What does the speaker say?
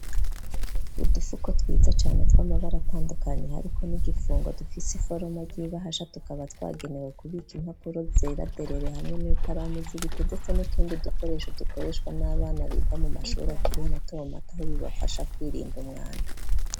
Udufuko twiza cane twama baratandukanye ariko n'igifungo dufise iforoma ry'ibahasha tukaba twagenewe kubika impapuro zeraderere. Hamwe n'ikaramu zibiti ndetse n'utundi dukoresho dukoreshwa n'abana biga mu mashuri akiri mato mato aho bibafasha kwirinda umwanda.